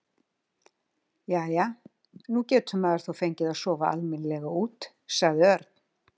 Jæja, nú getur maður þó fengið að sofa almennilega út sagði Örn.